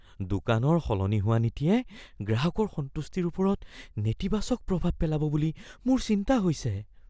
দোকানৰ সলনি হোৱা নীতিয়ে গ্ৰাহকৰ সন্তুষ্টিৰ ওপৰত নেতিবাচক প্ৰভাৱ পেলাব বুলি মোৰ চিন্তা হৈছে।